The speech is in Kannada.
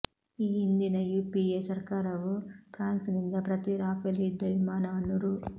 ಈ ಹಿಂದಿನ ಯುಪಿಎ ಸರ್ಕಾರವು ಫ್ರಾನ್ಸ್ ನಿಂದ ಪ್ರತಿ ರಾಫೆಲ್ ಯುದ್ದ ವಿಮಾನವನ್ನು ರೂ